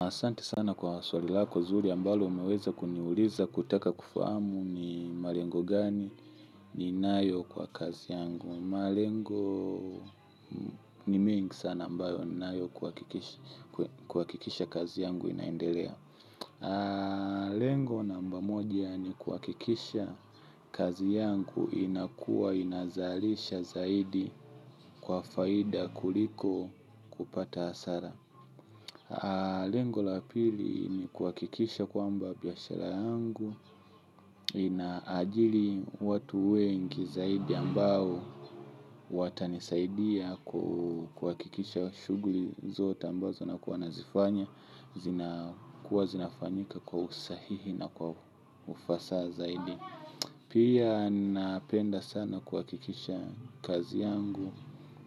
Asante sana kwa swali lako zuri ambalo umeweza kuniuliza kutaka kufahamu ni malengo gani ninayo kwa kazi yangu. Malengo ni mingi sana ambayo ninayo kuhakikisha kazi yangu inaendelea. Lengo namba moja ni kuhakikisha kazi yangu inakuwa inazalisha zaidi kwa faida kuliko upata hasara. Lengo la pili ni kuhakikisha kwamba biashara yangu inaajili watu wengi zaidi ambao watanisaidia kuhakikisha shughuli zote ambazo nakuwa nazifanya zina kuwa zinafanyika kwa usahihi na kwa ufasaha zaidi. Pia napenda sana kuakikisha kazi yangu.